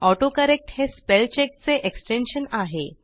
autocorrect हे spell चेकचे extension आहे